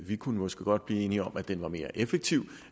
vi kunne måske godt blive enige om at den er mere effektiv